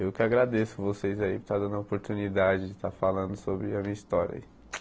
Eu que agradeço vocês aí por estar dando a oportunidade de estar falando sobre a minha história aí.